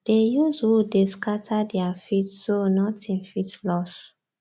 dey use wood dey scatter their feed so nothing fit loss